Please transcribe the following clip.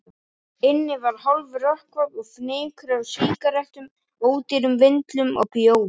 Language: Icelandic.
Inni var hálfrökkvað, og fnykur af sígarettum, ódýrum vindlum og bjór.